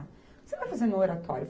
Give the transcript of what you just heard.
Você vai fazer no Oratório?